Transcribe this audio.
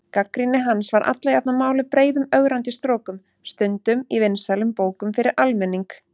Gagnrýni hans var alla jafna máluð breiðum ögrandi strokum, stundum í vinsælum bókum fyrir almenning.